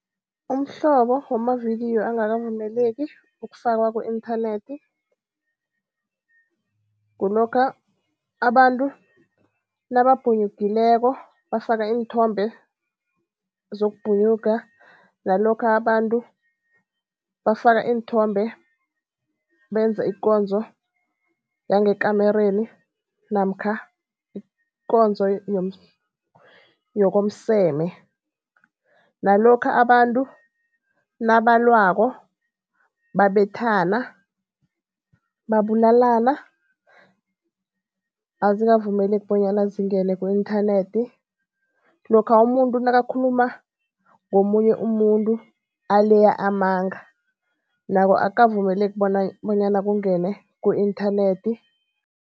Umhlobo wamavidiyo angakavumeleki ukufakwa ku-inthanethi, kulokha abantu nabapunyukileko bafaka iinthombe zokubhunyuka. Nalokha abantu bafaka iinthombe benza ikonzo yangekamereni namkha ikonzo yokomseme. Nalokha abantu nabalwako, babethana, babulalana azikavumeleki bonyana zingene ku-inthanethi. Lokha umuntu nakakhuluma ngomunye umuntu aleya amanga, nakho akavumeleki bona bonyana kungene ku-inthanethi.